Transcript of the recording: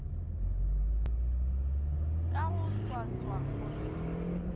ka go swaswa o re